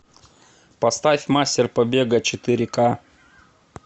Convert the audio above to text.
поставь мастер побега четыре ка